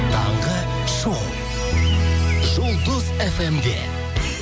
таңғы шоу жұлдыз фм де